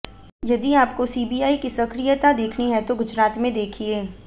यदि आपको सीबीआई की सक्रियता देखनी है तो गुजरात में देखिये